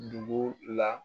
Dugu la